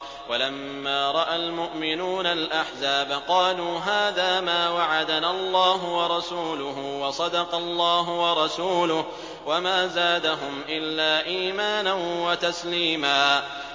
وَلَمَّا رَأَى الْمُؤْمِنُونَ الْأَحْزَابَ قَالُوا هَٰذَا مَا وَعَدَنَا اللَّهُ وَرَسُولُهُ وَصَدَقَ اللَّهُ وَرَسُولُهُ ۚ وَمَا زَادَهُمْ إِلَّا إِيمَانًا وَتَسْلِيمًا